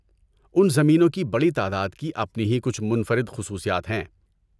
اُن زمینوں کی بڑی تعداد کی اپنی ہی کچھ منفرد خصوصیات ہیں۔